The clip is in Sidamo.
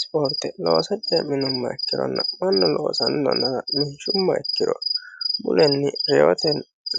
sipoorte loosa cee'minumoha ikkironna mannu loosannonnara linshumma ikkiro mulenni reyote